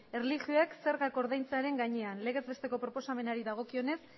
erlijioek zergak ordaintzearen gainean legez besteko proposamenari dagokionez